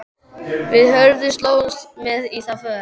Við Hörður slógumst með í þá för.